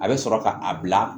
A bɛ sɔrɔ ka a bila